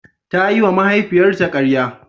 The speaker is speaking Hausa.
Ta yiwa mahaifiyarta karya.